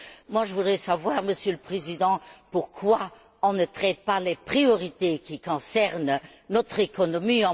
Alors, je voudrais savoir, Monsieur le Président, pourquoi on ne traite pas les priorités qui concernent notre économie.